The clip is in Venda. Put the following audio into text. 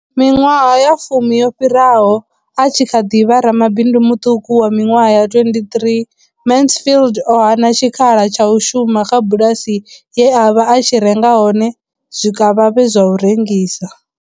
Miṅwaha ya fumi yo fhiraho, a tshi kha ḓi vha ramabindu muṱuku wa miṅwaha ya 23, Mansfield o hana tshikhala tsha u shuma kha bulasi ye a vha a tshi renga hone zwikavhavhe zwa u rengisa.